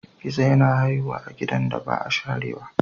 Gizo-gizo yana haihuwa a gidan da ba a sharewa.